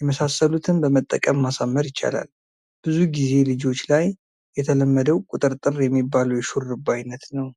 የመሳሰሉትን በመጠቀም ማሳመር ይቻላል። ብዙ ጊዜ ልጆች ላይ የተለመደው ቁጥርጥር የሚባለው የሹሩባ አይነት ነው።